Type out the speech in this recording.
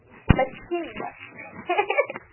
спасибо ха-ха